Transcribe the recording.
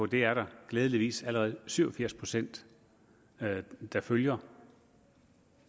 det er der glædeligvis allerede syv og firs procent der følger